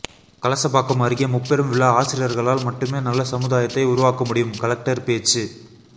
கலசபாக்கம் அருகே முப்பெரும் விழா ஆசிரியர்களால் மட்டுமே நல்ல சமுதாயத்தை உருவாக்க முடியும் கலெக்டர் பேச்சு